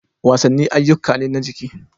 Wasanni ayyuka ne na jiki.